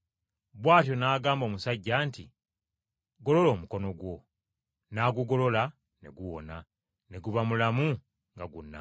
Bw’atyo n’agamba omusajja nti, “Golola omukono gwo.” N’agugolola ne guwona, ne guba mulamu nga gunnaagwo!